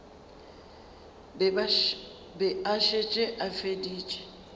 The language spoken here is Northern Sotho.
be a šetše a feditše